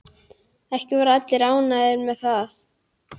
Ekki voru allir ánægðir með það.